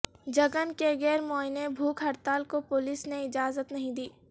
جگن کے غیر معینہ بھوک ہڑتال کو پولیس نے اجازت نہیں دی